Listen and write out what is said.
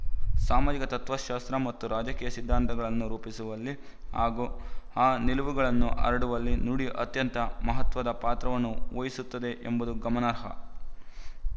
ಸಾಮಾಜಿಕ ತತ್ವಶಾಸ್ತ್ರ ಮತ್ತು ರಾಜಕೀಯ ಸಿದ್ಧಾಂತಗಳನ್ನು ರೂಪಿಸುವಲ್ಲಿ ಹಾಗೂ ಆ ನಿಲುವುಗಳನ್ನು ಹರಡುವಲ್ಲಿ ನುಡಿ ಅತ್ಯಂತ ಮಹತ್ವದ ಪಾತ್ರವನ್ನು ವಹಿಸುತ್ತದೆ ಎಂಬುದು ಗಮನಾರ್ಹ